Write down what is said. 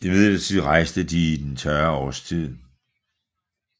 Imidlertid rejste de i den tørre årstid